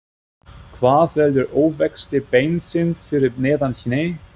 Hvað veldur ofvexti beinsins fyrir neðan hné?